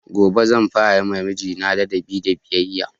Gobe zan fara yima mijina ladabi da biyayya